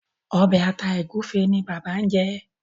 Obe ata egufe ní bàbá ñ jé.